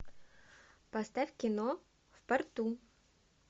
поставь кино в порту